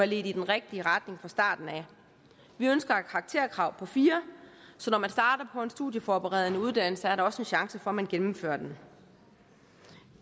ledt i den rigtige retning fra starten af vi ønsker et karakterkrav på fire så når man starter på en studieforberedende uddannelse er der også en chance for at man gennemfører den